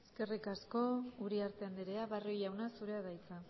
eskerrik asko uriarte andrea barrio jauna zurea da hitza